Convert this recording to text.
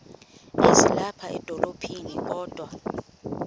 ezilapha edolophini kodwa